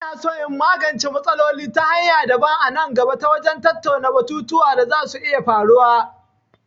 Ina son in magance matsalol ta hanya daban a nan gaba ta wajen tattauna batutuwa da za su iya faruwa.